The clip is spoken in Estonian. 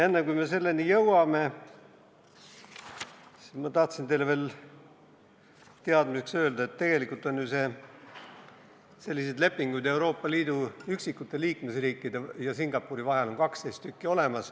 Enne, kui me selleni jõuame, ma tahtsin teile veel teadmiseks öelda, et tegelikult on ju selliseid lepinguid Euroopa Liidu üksikute liikmesriikide ja Singapuri vahel 12.